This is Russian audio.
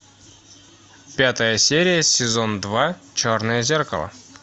пятая серия сезон два черное зеркало